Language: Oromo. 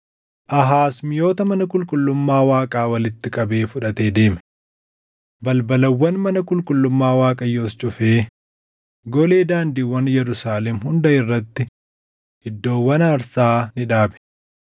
Aahaaz miʼoota mana qulqullummaa Waaqaa walitti qabee fudhatee deeme. Balbalawwan mana qulqullummaa Waaqayyoos cufee golee daandiiwwan Yerusaalem hunda irratti iddoowwan aarsaa ni dhaabe.